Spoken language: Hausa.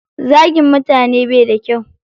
Zagin mutane baida kyau